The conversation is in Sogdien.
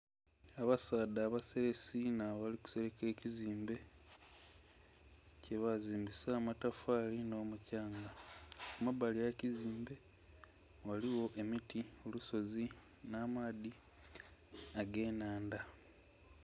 Abasaadha abaselesi nh'abali kuseleka ekizimbe, kyebazimbisa amatafaali nh'omukyanga. Ku mabbali gh'ekizimbe, ghaligho emiti, olusozi, nh'amaadhi ag'ennhanda